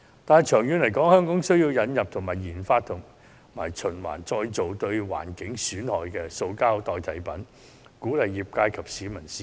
但長遠而言，香港需要引入或研發可循環再造及不損害環境的塑膠替代品，鼓勵業界及市民使用。